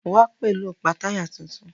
Wá pẹ̀lú ọ̀pá táyà tuntun.